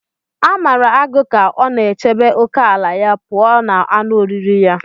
A mara agụ ka ọ na-echebe ókèala ya pụọ ​​na anụ oriri ya.